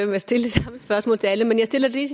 med at stille det samme spørgsmål til alle men jeg stiller det